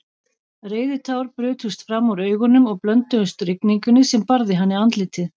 Reiðitár brutust fram úr augunum og blönduðust rigningunni sem barði hann í andlitið.